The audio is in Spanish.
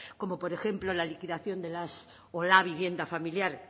como por ejemplo la liquidación de las o la vivienda familiar